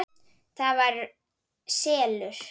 ÞAÐ VAR SELUR!